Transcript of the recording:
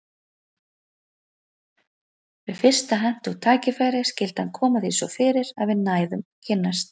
Við fyrsta hentugt tækifæri skyldi hann koma því svo fyrir að við næðum að kynnast.